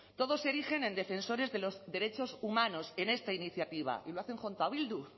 todos se erigen en defensores de los derechos humanos en esta iniciativa y lo hacen junto a bildu